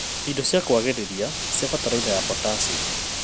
ndo cia kwagĩrĩria cia bataraitha ya potassic